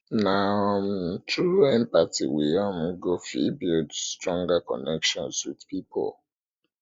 na um through empathy we um go um fit build stronger connections with pipo